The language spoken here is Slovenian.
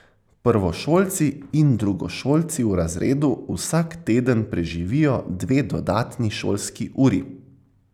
Prvošolci in drugošolci v razredu vsak teden preživijo dve dodatni šolski uri.